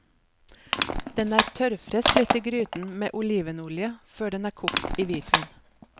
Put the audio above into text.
Den er tørrfrest litt i gryten med olivenolje, før den er kokt i hvitvin.